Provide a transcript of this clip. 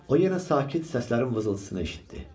O yenə sakit səslərin vızıltısını eşitdi.